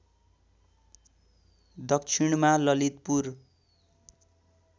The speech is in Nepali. दक्षिणमा ललितपुर